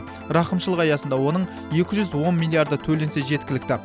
рақымшылық аясында оның екі жүз он миллиярды төленсе жеткілікті